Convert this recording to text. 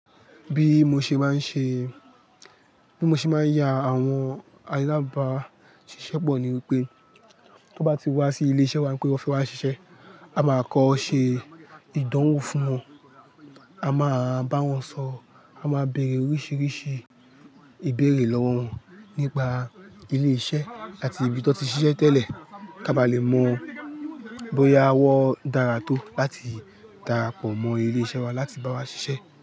Bí mo ṣe máa ń ṣe, bí mo ṣe máa ń ya àwọn alábàáṣiṣẹ́ pọ̀ ni wípé, tó bá ti wá sí ilé iṣẹ́ wa pé ọ́ fẹ́ wá ṣiṣẹ́, a máa kọ́ ṣe ìdánwò fún wọn, a máa bá wọn sọ̀rọ̀, a máa bèèrè oríṣiríṣi ìbéèrè lọ́wọ́ wọn nípa ilé iṣẹ́ àti ibi tó ti ṣiṣẹ́ tẹ́lẹ̀, kí a bá lè mọ̀ bóyá wọn dára tó láti darapọ̀ mọ́ ilé iṣẹ́ wa láti bá wa ṣiṣẹ́